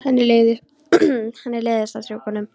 Henni leiðist að strjúka honum.